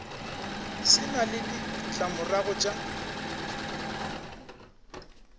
se na le ditlamorago tša